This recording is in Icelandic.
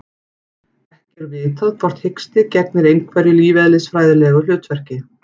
Ekki er vitað hvort hiksti gegnir einhverju lífeðlisfræðilegu hlutverki.